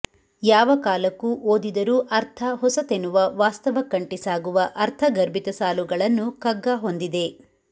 ಯಾವ ಕಾಲಕ್ಕೂ ಓದಿದರೂ ಅರ್ಥ ಹೊಸತೆನುವ ವಾಸ್ತವಕ್ಕಂಟಿ ಸಾಗುವ ಅರ್ಥ ಗರ್ಭಿತ ಸಾಲುಗಳನು ಕಗ್ಗ ಹೊಂದಿದೆ